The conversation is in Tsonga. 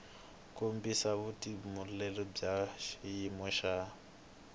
kombisa vutitumbuluxeri bya xiyimo xa